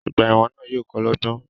Ogbà èwòn náà yío ko lógbón